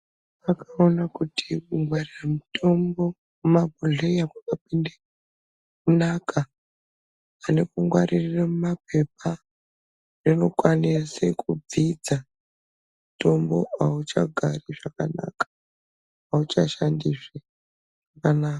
Vakaona kuti kungwaririre mitombo mumabhodheya kwakapinde kunaka pane kungwaririre mumapepa. Unokwanise kubvidza, mutombo hauchagari zvakanaka hauchashandizve zvakanaka.